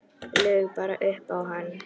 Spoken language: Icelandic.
Laug bara upp á hann.